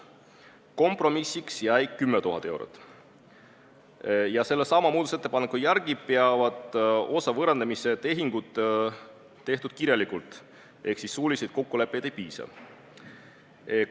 Kompromissiks jäi 10 000 eurot ja sellesama muudatusettepaneku järgi peab osa võõrandamise tehinguid olema tehtud kirjalikult ehk suulisest kokkuleppest ei piisa.